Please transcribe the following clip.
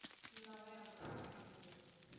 full ஆவே அப்பிடிதான் கேட்டுச்சு